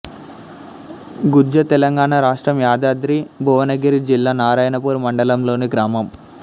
గుజ్జ తెలంగాణ రాష్ట్రం యాదాద్రి భువనగిరి జిల్లా నారాయణపూర్ మండలంలోని గ్రామం